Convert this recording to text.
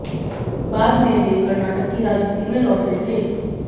बाद में वे कर्नाटक की राजनीति में लौट गए थे